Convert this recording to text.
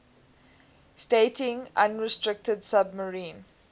stating unrestricted submarine